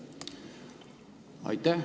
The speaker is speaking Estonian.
Aitäh!